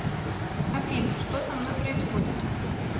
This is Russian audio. афина что со мной происходит